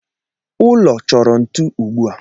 Ụlọ chorọ ntu ugbua